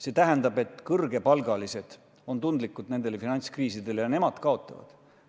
See tähendab, et kõrgepalgalised on finantskriiside suhtes tundlikud ja nemad kaotavad palju.